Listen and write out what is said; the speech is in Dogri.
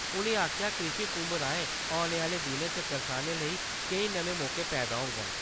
उ`नें आक्खेआ कृषि कुम्भ-राहें औने आह्‌ले दिनें च करसानें लेई केईं नमें मौके पैदा होङन।